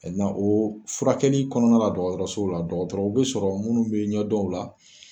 o furakɛli kɔnɔna la dɔgɔtɔrɔso la dɔgɔtɔrɔw bɛ sɔrɔ minnu bɛ ɲɔdɔn o la.